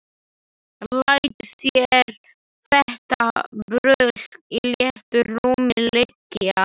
Lætur sér þetta brölt í léttu rúmi liggja.